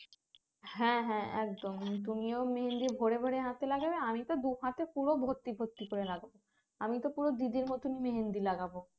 হ্যাঁ হ্যাঁ একদম তুমিও মেহেন্দি ভোরে ভোরে হাতে লাগবো আমি তো দুই হাতে পুরো ভর্তি ভর্তি করে লাগাব আমিতো পুরো দিদির মতো করে মেহেন্দি লাগাব